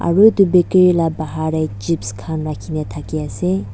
aru itu bakery la bahar tey chips khan rakhina thaki ase.